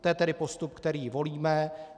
To je tedy postup, který volíme.